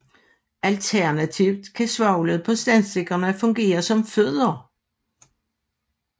Alternativt kan svovlet på tændstikkerne fungere som fødder